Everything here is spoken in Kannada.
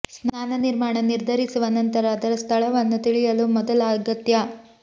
ಸ್ನಾನ ನಿರ್ಮಾಣ ನಿರ್ಧರಿಸುವ ನಂತರ ಅದರ ಸ್ಥಳವನ್ನು ತಿಳಿಯಲು ಮೊದಲ ಅಗತ್ಯ